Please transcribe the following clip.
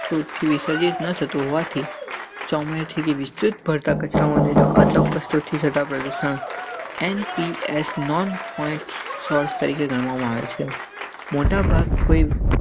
તો હોવાથી ચોમેરથી વિસ્તૃત પડતા કચરા મને તો અચોક્કસ સ્રોતથી થતા પ્રદૂષણ. તમારે છે મોટાભાગ.